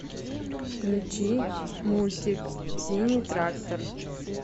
включи мультик синий трактор